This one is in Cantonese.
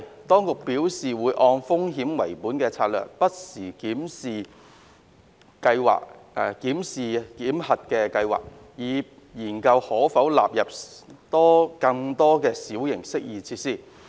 當局表示會按風險為本的策略不時檢視檢核計劃，以研究可否納入更多小型適意設施。